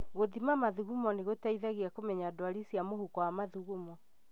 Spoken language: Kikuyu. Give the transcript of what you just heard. Gũthima mathugumo nĩgũteithagia kũmenya ndwari cia mũhuko wa mathugumo